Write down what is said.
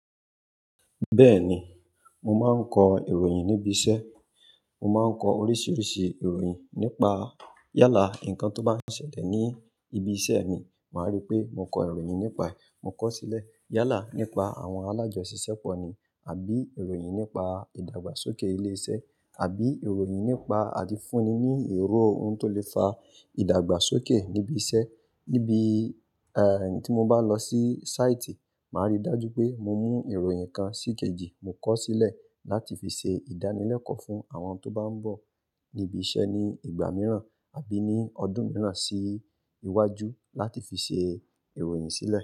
Bẹ́ẹ̀ni, mo máa ń kọ ìròyìn níbi iṣẹ́. Mo máa ń kọ oríṣiríṣi ìròyìn nípa yálà, ǹkan tó bá ń ṣẹlẹ̀ ní ibi iṣẹ́ mi, màá rí pé mo kọ ìròyìn nípa ẹ̀, mo kọ ó sílẹ̀. Yálà nípa àwọn alájọṣìṣẹ́ pọ̀ ni, àbí ìròyìn nípa ìdàgbàsókè ilé iṣẹ́, àbí ìròyìn nípa àdìfúnni ní èrò ohun tó lè fa ìdàgbàsókè níbi iṣẹ́. Níbi, tí mo bá lọ sí sáìtì, màá rí dájú pé mo mú ìròyìn kan síkejì, mo kọ sílẹ̀ láti fi ṣe ìdánilẹ́kọ̀ọ́ fún àwọn tó bá ń bọ̀ níbi iṣẹ́ ní ìgbà mìíràn àbí ní ọdún mìíràn sí iwájú láti fi ṣe ìròyìn sílẹ̀.